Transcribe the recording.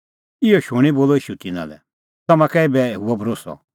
इहअ शूणीं बोलअ ईशू तिन्नां लै तम्हां कै एभै हुअ भरोस्सअ